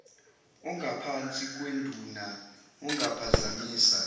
ongaphansi kwenduna ongaphazamisa